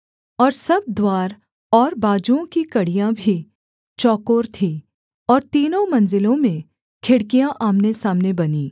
और सब द्वार और बाजुओं की कड़ियाँ भी चौकोर थीं और तीनों मंजिलों में खिड़कियाँ आमनेसामने बनीं